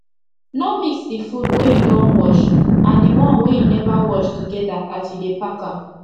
no mix d fud wey you don wash and d one wey u never wash togeda as u dey pack am